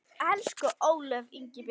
Elsku Ólöf.